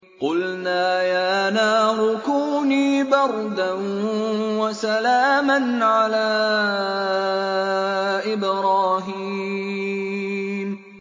قُلْنَا يَا نَارُ كُونِي بَرْدًا وَسَلَامًا عَلَىٰ إِبْرَاهِيمَ